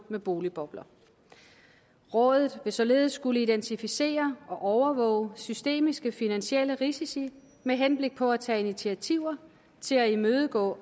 med boligbobler rådet vil således skulle identificere og overvåge systemiske finansielle risici med henblik på at tage initiativer til at imødegå